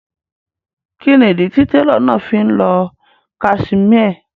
Kíni ídí tí tẹ̀ló náà fí n lọ́ casimẹ́è?